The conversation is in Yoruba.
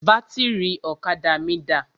Bátìrì ọ̀kadà mí dà?